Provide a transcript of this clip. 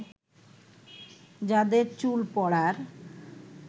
যাদের চুল পড়ার